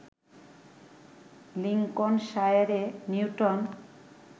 লিংকনশায়ারে Newton